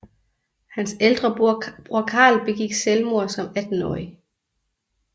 Hans ældre bror Karl begik selvmord som attenårig